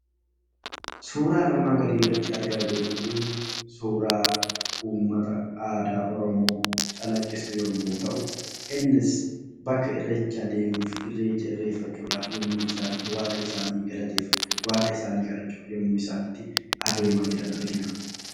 Suuraan armaan gadii irratti argaa jirru Kunii, suuraa uummata aadaa Oromoo calaqqisu yemmuu ta'u, innis bakka irreechaa deemuuf irreecha irreeffachuudhaa yemmuutti isaan itti waaqa isaanii galateeffachuuf, waaqa isaanii kadhachuuf yemmuu adeemaa jiran argina.